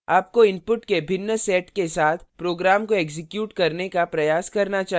आपको inputs के भिन्न sets के साथ program को एक्जीक्यूट करने का प्रयास करना चाहिए